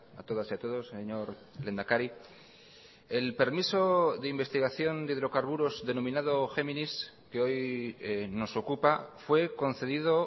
a todas y a todos señor lehendakari el permiso de investigación de hidrocarburos denominado géminis que hoy nos ocupa fue concedido